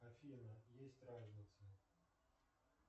афина есть разница